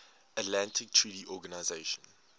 atlantic treaty organisation